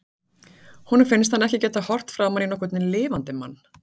Honum finnst hann ekki geta horft framan í nokkurn lifandi mann.